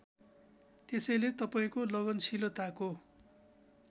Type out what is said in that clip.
त्यसैले तपाईँको लगनशीलताको